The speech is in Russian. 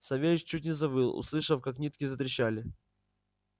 савельич чуть не завыл услышав как нитки затрещали